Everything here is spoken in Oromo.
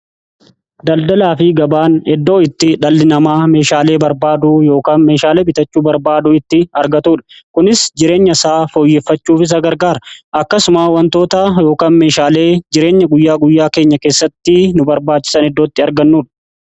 Daldalaa fi gabaan eddoo itti dhalli namaa meeshaalee barbaaduu yookaan meeshaalee bitachuu barbaaduu itti argatuudha. Kunis jireenya isaa fooyyeffachuuf isa gargaara. Akkasuma wantoota yookaan meeshaalee jireenya guyyaa guyyaa keenya keessatti nu barbaachisan eddootti argannuudha.